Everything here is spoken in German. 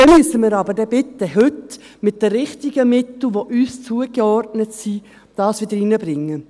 Dann müssen wir aber bitte heute mit den richtigen Mitteln, die uns zugeordnet sind, das wieder reinbringen.